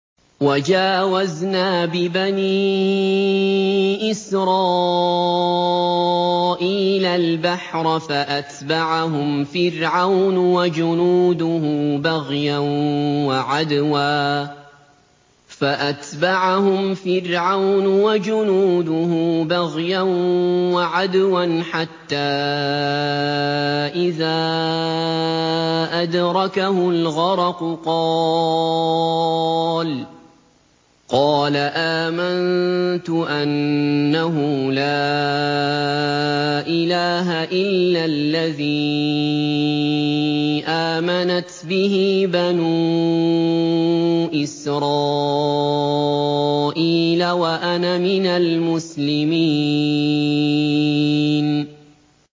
۞ وَجَاوَزْنَا بِبَنِي إِسْرَائِيلَ الْبَحْرَ فَأَتْبَعَهُمْ فِرْعَوْنُ وَجُنُودُهُ بَغْيًا وَعَدْوًا ۖ حَتَّىٰ إِذَا أَدْرَكَهُ الْغَرَقُ قَالَ آمَنتُ أَنَّهُ لَا إِلَٰهَ إِلَّا الَّذِي آمَنَتْ بِهِ بَنُو إِسْرَائِيلَ وَأَنَا مِنَ الْمُسْلِمِينَ